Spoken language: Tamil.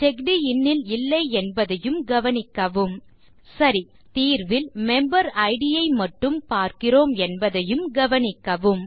செக்ட் இன் ல் இல்லை என்பதையும் கவனிக்கவும் சரி தீர்வில் மெம்பரிட் ஐ மட்டும் பார்க்கிறோம் என்பதையும் கவனிக்கவும்